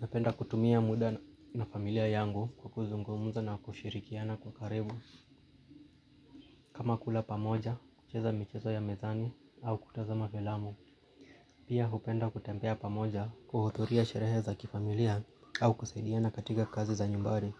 Napenda kutumia muda na familia yangu kwa kuzungumuza na kushirikiana kwa karibu kama kula pamoja, kucheza michezo ya mezani au kutazama felamu. Pia hupenda kutembea pamoja kuhudhuria sherehe za kifamilia au kusaidiana katika kazi za nyumbari.